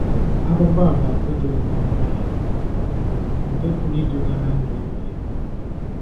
Akwụkwọ a bụ akụ̀ dị oké ọnụ ahịa nke pụrụ iduga ná ndụ ebighị ebi